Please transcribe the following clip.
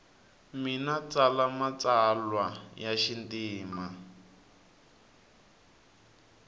mina ntsala matsalwalwa yamatimu